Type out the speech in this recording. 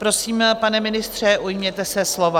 Prosím, pane ministře, ujměte se slova.